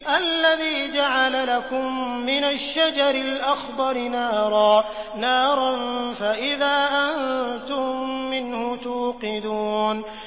الَّذِي جَعَلَ لَكُم مِّنَ الشَّجَرِ الْأَخْضَرِ نَارًا فَإِذَا أَنتُم مِّنْهُ تُوقِدُونَ